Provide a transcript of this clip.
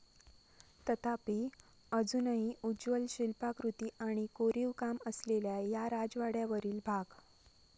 तथापी, अजूनही उज्ज्वल शिल्पाकृती आणि कोरीव काम असलेल्या या राजवाड्यावरील भाग.